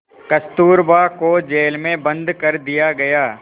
कस्तूरबा को जेल में बंद कर दिया गया